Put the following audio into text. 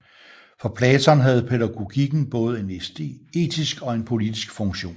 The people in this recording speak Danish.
For Platon havde pædagogikken både en etisk og en politisk funktion